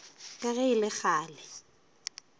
ka ge e le kgale